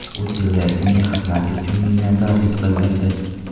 U Tillersonga xizmati uchun minnatdorlik bildirdi.